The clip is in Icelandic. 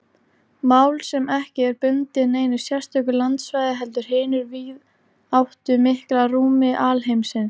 Mál sem ekki er bundið neinu sérstöku landsvæði heldur hinu víðáttumikla rúmi alheimsins.